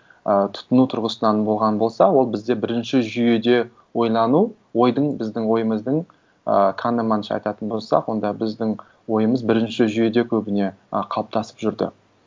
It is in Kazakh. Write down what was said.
ы тұтыну тұрғысынан болған болса ол бізде бірінші жүйеде ойлану ойдың біздің ойымыздың ы канеманша айтатын болсақ онда біздің ойымыз бірінші жүйеде көбіне ы қалыптасып жүрді